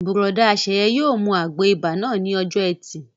Bùrọ̀dá Sẹ̀yẹ yóò mu àgbo ibà náà ní ọjọ́ ẹtì